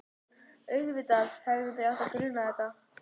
Auðvitað hefði mig átt að gruna þetta.